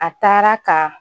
A taara ka